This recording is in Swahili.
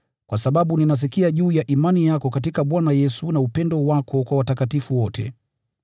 kwa sababu ninasikia juu ya imani yako katika Bwana Yesu na upendo wako kwa watakatifu wote.